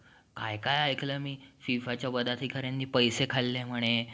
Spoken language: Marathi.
काय काय ऐकलंय मी फिफा च्या वन अधिकाऱ्यांनी पैसे खाल्ले म्हणे.